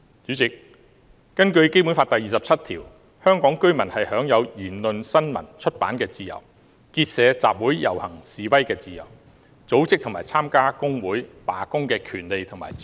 主席，根據《基本法》第二十七條，香港居民享有言論、新聞、出版的自由，結社、集會、遊行、示威的自由，組織和參加工會、罷工的權利和自由。